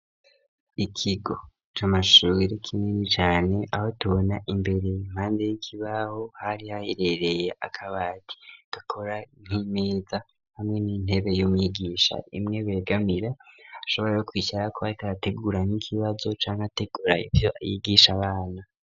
Ikigo c'amashure kinini cane, aho tubona imbere impande y'ikibaho hari hayerereye akabati gakora nk'imeza, hamwe n'intebe y'umwigisha imwe begamira ashobora no kwicarako ariko ategura nk'ikibazo canke ategura ivyo yigisha abana.